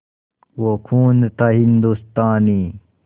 वो खून था हिंदुस्तानी